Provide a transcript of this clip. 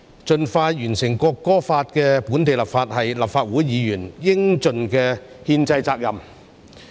盡快完成《國歌法》的本地立法，是立法會議員應盡的憲制責任。